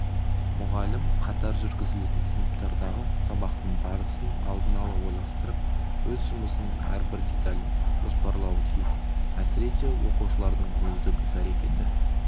мұғалім қатар жүргізілетін сыныптардағы сабақтың барысын алдын-ала ойластырып өз жұмысының әрбір деталін жоспарлауы тиіс әсіресе оқушылардың өздік іс-әрекеті